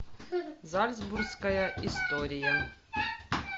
зальцбургская история